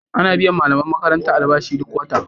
Ana biyan malaman makaranta albashi duk wata.